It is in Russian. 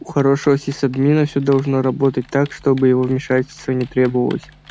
у хорошего сисадмина всё должно работать так чтобы его вмешательство не требовалось